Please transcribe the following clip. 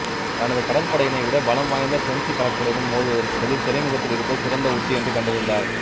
தனது கடற்படையினை விட பலம் வாய்ந்த பிரெஞ்சு கடற்படையுடன் மோதுவதற்கு பதில் துறைமுகத்தில் இருப்பது சிறந்த உத்தி என்று கண்டறிந்தார்